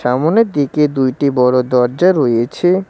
সামোনের দিকে দুইটি বড়ো দরজা রয়েছে।